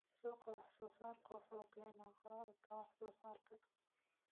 Suuqa wax-soo-saarku wuxuu keenaa kororka wax-soo-saarka.